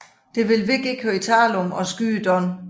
Det vil Vic ikke høre tale om og skyder Don